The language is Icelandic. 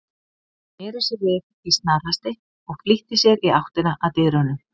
Hann sneri sér við í snarhasti og flýtti sér í áttina að dyrunum.